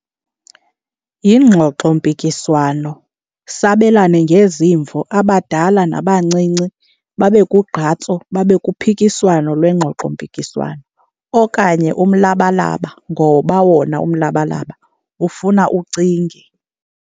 Yingxoxompikiswano, sabelane ngezimvo. Abadala nabancinci babe kugqatso, babe kuphikiswano lwengxoxompikiswano. Okanye umlabalaba, ngoba wona umlabalaba ufuna ucinge.